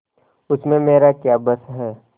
उसमें मेरा क्या बस है